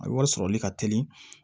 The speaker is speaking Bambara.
A bɛ wari sɔrɔli ka teli